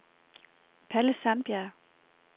Palle Sandberg